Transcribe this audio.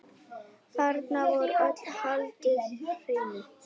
Þarna var öllu haldið hreinu.